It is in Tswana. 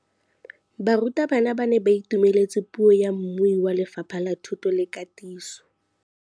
Barutabana ba ne ba itumeletse puô ya mmui wa Lefapha la Thuto le Katiso.